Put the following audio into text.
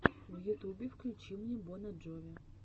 в ютубе включи мне бона джови